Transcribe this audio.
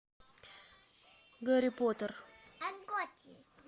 гарри поттер